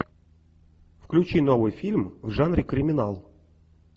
включи новый фильм в жанре криминал